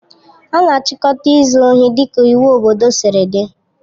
A na-achịkọta izu ohi dịka iwu obodo siri dị.